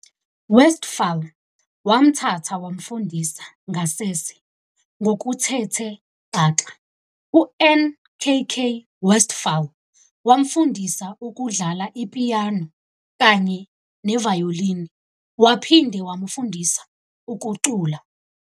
Westphal wamthatha wamfundisa ngasese ngokuthethe xaxa. UNkk. Westphal wamfundisa ukudlala ipiyano kanye ne vayolini waphinde wamfundisa nokucula.